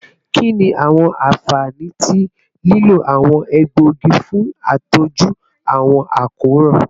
Kini awọn anfani ti lilo awọn egboogi fun atọju awọn akoran?